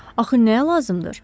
Axı nəyə lazımdır?